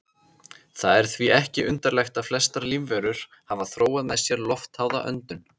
Það er því ekki undarlegt að flestar lífverur hafa þróað með sér loftháða öndun.